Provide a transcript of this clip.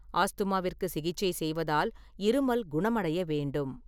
ஆஸ்துமாவிற்குச் சிகிச்சை செய்வதால் இருமல் குணமடைய வேண்டும்.